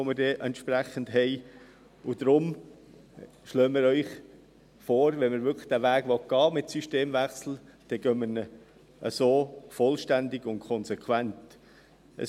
Deshalb schlagen wir Ihnen vor, dass man, wenn man diesen Weg mit dem Systemwechsel wirklich gehen will, diesen so vollständig und konsequent geht.